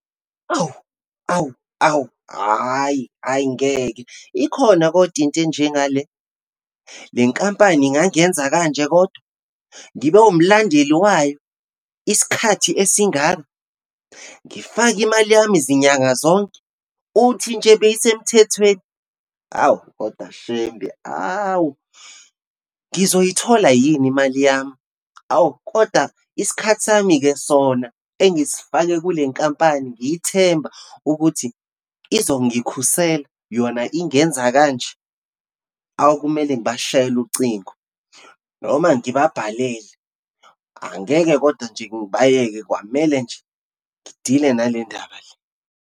Awu, awu, awu, hhayi, hhayi ngeke, ikhona kodwa into enjengale? Le nkampani ingangenza kanje kodwa? Ngibe umlandeli wayo isikhathi esingaka? Ngifake imali yami zinyanga zonke. Uthi nje beyisemthethweni? Hawu, kodwa Shembe awu. Ngizoyithola yini imali yami? Awu, kodwa isikhathi sami-ke sona engisifake kule nkampani, ngiyithemba ukuthi izongikhusela, yona ingenza kanje. Awu, kumele ngibashayele ucingo, noma ngibabhalele. Angeke kodwa nje ngibayeke, kwamele nje, ngidile nale ndaba le.